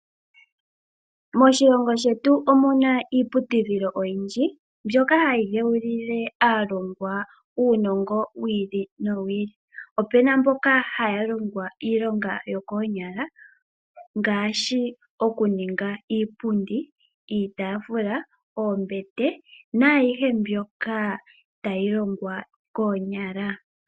Moshilongo shetu omuna iiputudhilo oyindji mbyoka hayi dhewulile aalongwa unongo wili nowili, Opena mboka haya longwa iilonga yokonyala ngashi okuninga iipundi, iitafula, oombete nayihe mbyoka tayi longwa konyala